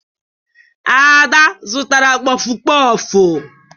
Ada zụtara kpọfụ kpọfụ